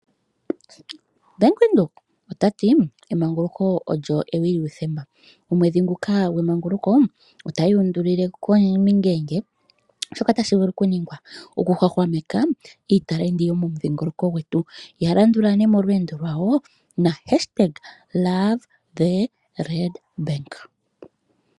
Bank Windhoek ota ti: "Emanguluko olyo ewi lyuuthemba." Omwedhi nguka gwemanguluko otaya undulile komingenge shoka tashi vulu okuningwa okuhwahwameka iitalenti yomomudhingoloko dhetu. Ya landula nee molweendo lwawo na#Hola Ombaanga Ontiligane